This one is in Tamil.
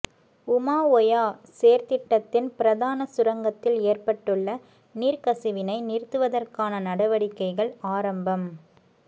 உமாஓயா செயற்திட்டத்தின் பிரதான சுரங்கத்தில் ஏற்பட்டுள்ள நீர்க்கசிவினை நிறுத்துவதற்கான நடவடிக்கைகள் ஆரம்பம்